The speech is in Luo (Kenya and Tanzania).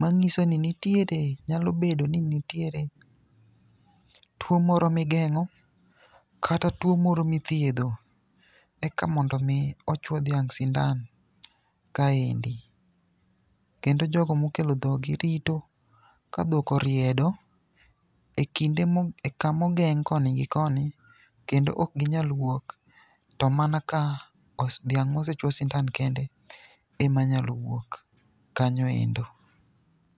Mang'iso ni nitiere, nyalo bedo ni nitiere tuwo moro migeng'o kata tuwo moro mithiedho eka mondo omi ochuwo dhiang' sindan kaendi. Kendo jogo mokelo dhoggi rito ka dhok oriedo e kamogeng' koni gi koni kendo ok ginyal wuok, to mana ka dhiang' mosechuwo sindan kende ,ema nyalo wuok kanyo endo.